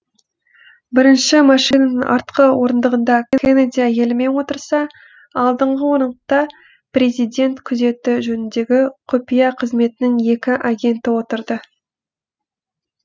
бірінші машинаның артқы орындығында кеннеди әйелімен отырса алдыңғы орындықта президент күзеті жөніндегі құпия қызметінің екі агенті отырды